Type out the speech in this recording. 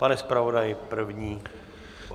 Pane zpravodaji - první.